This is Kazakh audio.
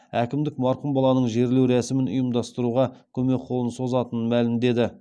әкімдік марқұм баланың жерлеу рәсімін ұйымдастыруға көмек қолын созатынын мәлімдеді